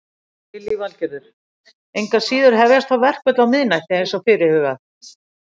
Lillý Valgerður: Engu að síður hefjast þá verkföll á miðnætti eins og er fyrirhugað?